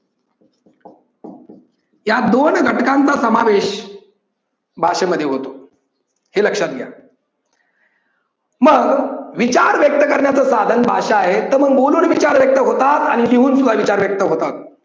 या दोन घटकांचा समावेश भाषेमध्ये होतो. हे लक्षात घ्या. मग विचार व्यक्त करण्याचे साधन भाषा आहे तर मग बोलुन सुद्धा विचार व्यक्त होता आणि मी तुला विचार व्यक्त होतात.